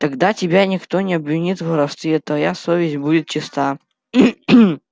тогда тебя никто не обвинит в воровстве твоя совесть будет чиста